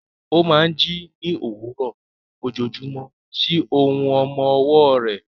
Ó máa ń jí ní òwúrọ̀ ojoojúmọ́ sí ohùn ọmọ ọwọ́ rẹ̀.